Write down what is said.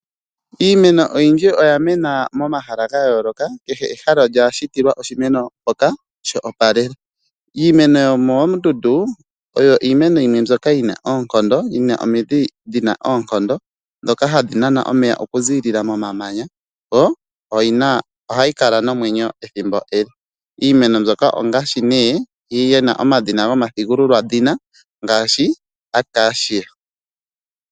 Iimeno oyindji oya mena momahala ga yooloka, kehe ehala olya shitilwa oshimeno shoka tashi opalele, iimeno yomoondundu Iyo iimeno yimwe mbyoka yina oonkondo yina omidhina dhina oonkondo ndhoka hadhi nanana omeya oku ziilila momeya yo ohayi kala nomwenyo omule. Iimeno mbyoka oyina omadhina gomathigululwadhina ngaashi o Acacia.